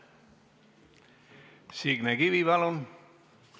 Signe Kivi, palun!